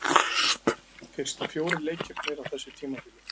Fyrstu fjórir leikirnir á þessu tímabili.